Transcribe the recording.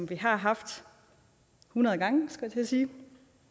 vi haft hundrede gange skulle jeg til at sige